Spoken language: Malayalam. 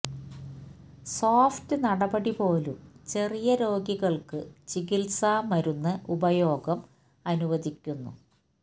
സോഫ്റ്റ് നടപടി പോലും ചെറിയ രോഗികൾക്ക് ചികിത്സ മരുന്ന് ഉപയോഗം അനുവദിക്കുന്നു